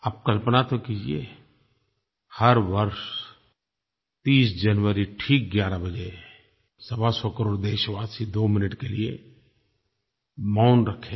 आप कल्पना तो कीजिए हर वर्ष 30 जनवरी ठीक 11 बजे सवासौ करोड़ देशवासी 2 मिनट के लिये मौन रखें